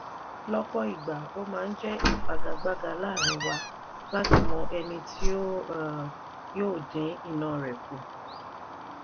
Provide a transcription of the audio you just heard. lọ́pọ̀ ìgbà o máa n jẹ́ ìfagagbága láàrín wa láti mọ ẹni tí o um yóò dín iná rẹ̀ kù